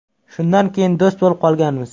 Shundan keyin do‘st bo‘lib qolganmiz.